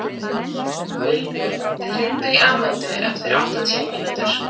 Vilbjörn, hringdu í Amöndu eftir áttatíu mínútur.